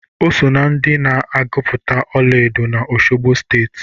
O soo na ndị na-egupụta ola edo na Osogbo Steeti